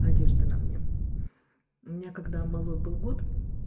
одежда на мне у меня когда малой был год